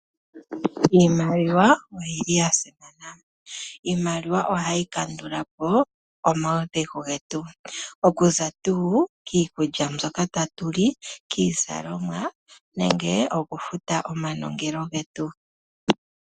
Iimaliwa oyiili ya simana. Iimaliwa ohayi kandulapo omaudhigu getu, okuza tuu kiikulya mbyoka tatu li, kiizalomwa , nenge oku futa omanongelo getu.